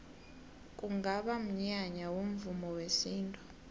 kungaba mnyanya womvumo wesintu